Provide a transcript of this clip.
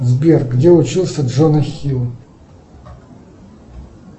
сбер где учился джона хилл